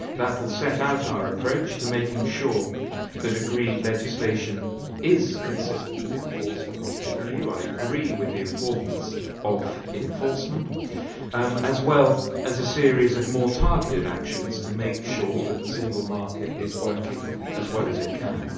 This will set out our approach to making sure that agreed legislation is consistently enforced across the EU, and I agree with the importance of enforcement, as well as a series of more targeted actions to make sure that the single market is working as well as it can.